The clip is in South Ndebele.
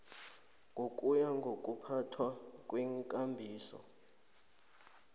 ngokuya ngokuphathwa kweekambiso